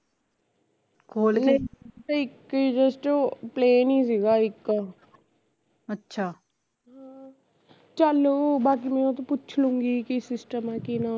ਨਹੀਂ ਇੱਕ ਹੀਂ just plane ਈ ਸੀਗਾ ਇਕ ਚਲ ਬਾਕੀ ਮੈਂ ਉਹਤੋਂ ਪੁੱਛ ਲਊਗੀ ਕੀ system ਆ ਕੀ ਨਾ